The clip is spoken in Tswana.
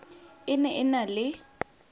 e ne e na le